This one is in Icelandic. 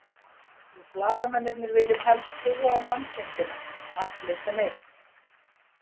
Við blaðamennirnir viljum helst trúa á mannkindina, allir sem einn.